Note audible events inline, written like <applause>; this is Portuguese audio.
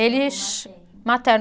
Ele. <unintelligible> Avô materno. Materno.